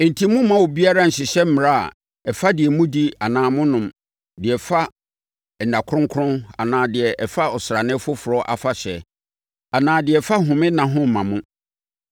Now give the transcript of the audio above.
Enti, mommma obiara nnhyehyɛ mmara a ɛfa deɛ modi anaa monom, deɛ ɛfa nna kronkron anaa deɛ ɛfa asrane foforɔ afahyɛ anaa deɛ ɛfa home nna ho mmma mo.